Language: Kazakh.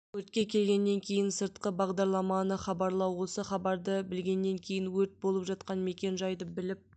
өртке келгеннен кейін сыртқы бағдарламаны хабарлау осы хабарды білгеннен кейін өрт болып жатқан мекен жайды біліп